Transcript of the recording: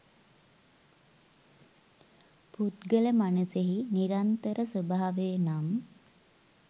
පුද්ගල මනසෙහි නිරන්තර ස්වභාවය නම්